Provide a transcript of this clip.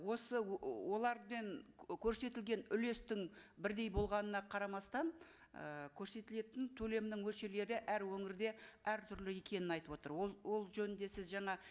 осы ыыы олармен көрсетілген үлестің бірдей болғанына қарамастан ы көрсетілетін төлемнің мөлшерлері әр өңірде әртүрлі екенін айтып отыр ол ол жөнінде сіз жаңа